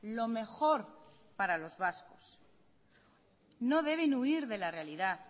lo mejor para los vascos no deben huir de la realidad